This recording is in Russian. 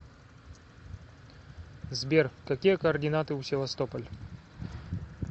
сбер какие координаты у севастополь